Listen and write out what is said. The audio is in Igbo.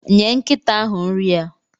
Nye nkịta ahụ nri ya.